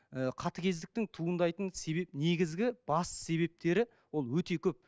ыыы қатыгездіктің туындайтын себеп негізгі басты себептері ол өте көп